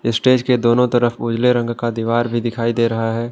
Stage के दोनों तरफ उजले रंग का दिवार भी दिखाई दे रहा है।